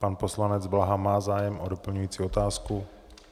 Pan poslanec Blaha má zájem o doplňující otázku?